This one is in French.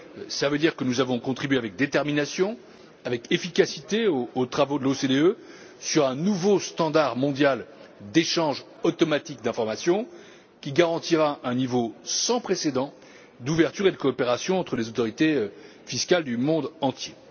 Cela veut dire que nous avons contribué avec détermination et avec efficacité aux travaux de l'OCDE sur un nouveau cadre mondial d'échange automatique d'informations, qui garantira un niveau sans précédent d'ouverture et de coopération entre les autorités fiscales du monde entier.